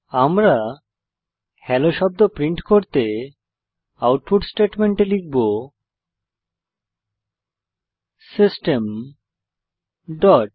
আমরা হেলো শব্দ প্রিন্ট করতে আউটপুট স্টেটমেন্ট লিখব সিস্টেম ডট